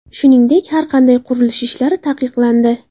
Shuningdek, har qanday qurilish ishlari taqiqlandi.